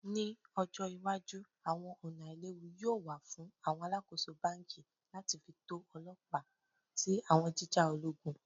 Ni ojo iwaju awọn ọna ailewu yoo wa fun awọn alakoso banki lati fi to ọlọpa ti awọn jija ologun?